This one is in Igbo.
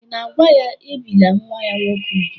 Ị̀ na-agwa ya, ebìla nwa ya nwoke úgwù?